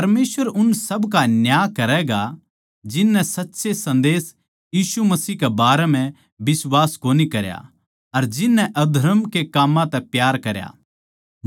परमेसवर उन सब का न्याय करैगा जिननै सच्चे सन्देस यीशु मसीह के बारें म्ह बिश्वास कोनी करया अर जिननै अधर्म के काम्मां तै प्यार करया